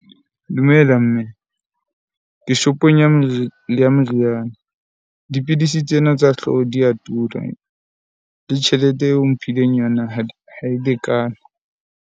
Dumela mme ke shop-ong ya ya meriana. Dipidisi tsena tsa hlooho di ya tura le tjhelete eo o mphileng yona ha ha e lekane.